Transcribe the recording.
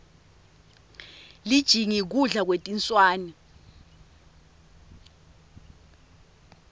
lijingi kudla kwetinswane